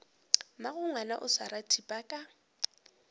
mmagongwana o swara thipa ka